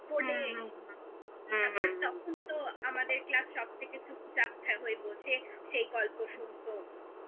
তখন তো আমাদের class সব থেকে চুপচাপ থাক হয়ে বসে সেই গল্প শুনতো